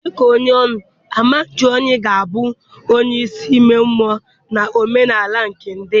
Dị ka onye oni, amaja oni ga-abụ onye isi ime mmụọ na omenala nke ndị ya.